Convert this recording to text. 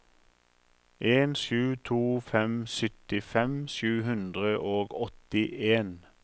en sju to fem syttifem sju hundre og åttien